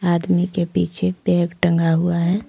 आदमी के पीछे बैग टंगा हुआ है।